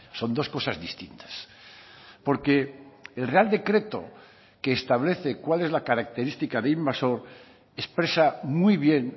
son dos cosas distintas porque el real decreto que establece cuál es la característica de invasor expresa muy bien